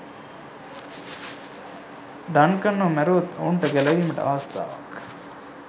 Duncan ව මැරුවොත් ඔවුන්ට ගැලවීමට අවස්ථාවක්